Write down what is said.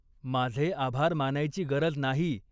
माझे आभार मानायची गरज नाही.